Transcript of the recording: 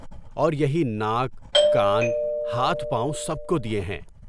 اور یہی ناک، کان، ہاتھ، پاؤں سب کو دیے ہیں۔